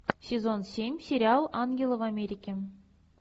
сезон семь сериал ангелы в америке